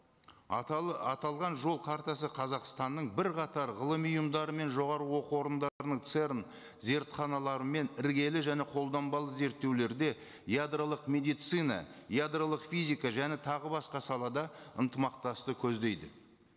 аталған жол қартасы қазақстанның бірқатар ғылыми ұйымдары мен жоғарғы оқу орындарының церн зертханалары мен іргелі және қолданбалы зерттеулерде ядролық медицина ядролық физика және тағы басқа салада ынтымақтасты көздейді